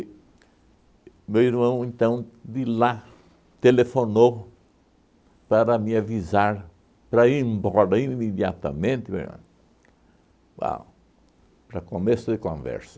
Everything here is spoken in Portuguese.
meu irmão, então, de lá, telefonou para me avisar para ir embora imediatamente, uau para começo de conversa.